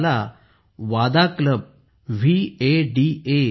ते ह्याला वाडा वादा क्लब मंडळ म्हणतात